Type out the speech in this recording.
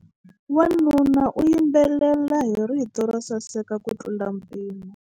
Wanuna u yimbelela hi rito ro saseka kutlula mpimo.